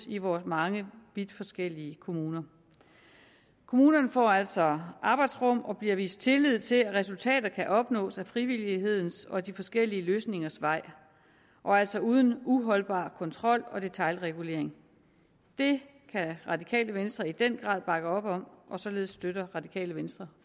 i vores mange vidt forskellige kommuner kommunerne får altså arbejdsrum og bliver vist tillid til at resultaterne kan opnås ad frivillighedens og de forskellige løsningers vej altså uden uholdbar kontrol og detailregulering det kan radikale venstre i den grad bakke op om og således støtter radikale venstre